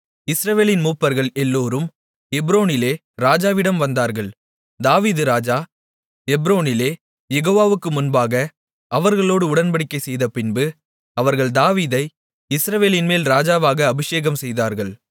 இஸ்ரவேலின் மூப்பர்கள் எல்லோரும் எப்ரோனிலே ராஜாவிடம் வந்தார்கள் தாவீது ராஜா எப்ரோனிலே யெகோவாவுக்கு முன்பாக அவர்களோடு உடன்படிக்கைசெய்தபின்பு அவர்கள் தாவீதை இஸ்ரவேலின்மேல் ராஜாவாக அபிஷேகம்செய்தார்கள்